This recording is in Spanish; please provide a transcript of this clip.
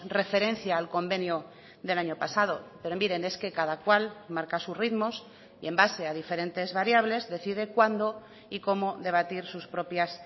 referencia al convenio del año pasado pero miren es que cada cual marca sus ritmos y en base a diferentes variables decide cuándo y cómo debatir sus propias